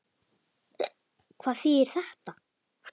Hvað þýðir þetta?